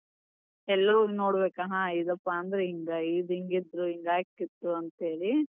ಎಲ್ಲೋ ಹೋಗಿ ನೋಡ್ಬೇಕ್ ಹಾ ಇದಪಾ ಅಂದ್ರ್ ಹಿಂಗ್, ಇದ್ ಹಿಂಗಿತ್ತು, ಹಿಂಗ್ ಆಕ್ಕಿತ್ತು ಅಂತ ಹೇಳಿ.